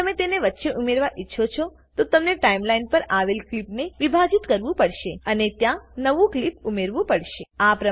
જો તમે તેને વચ્ચે ઉમેરવા ઈચ્છો છો તો તમને ટાઈમલાઈન પર આવેલ ક્લીપને વિભાજીત કરવું પડશે અને ત્યાં નવું ક્લીપ ઉમેરવું પડશે